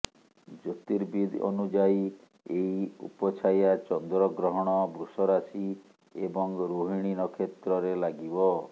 ଜ୍ୟୋତିର୍ବିଦ ଅନୁଯାୟୀ ଏହି ଉପଚ୍ଛାୟା ଚନ୍ଦ୍ରଗ୍ରହଣ ବୃଷ ରାଶି ଏବଂ ରୋହିଣୀ ନକ୍ଷତ୍ରରେ ଲାଗିବ